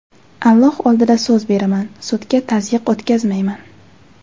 Alloh oldida so‘z beraman, sudga tazyiq o‘tkazmayman.